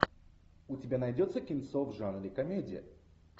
у тебя найдется кинцо в жанре комедия